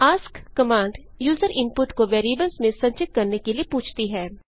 ask command user input को variables में संचित करने के लिए पूछती है